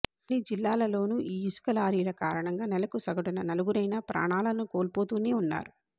అన్ని జిల్లాలలోనూ ఈ ఇసుక లారీల కారణంగా నెలకు సగటున నలుగురైనా ప్రాణాలను కోల్పోతూనే ఉన్నారు